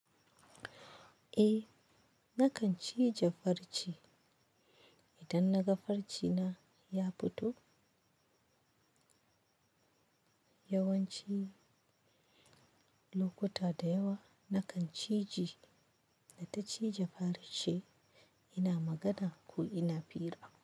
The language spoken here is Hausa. Eh, nakan cije farce idan naga farce na ya fito. Yawanci lokuta da yawa nakan cije, da ta cije farce ina magana ko ina fira.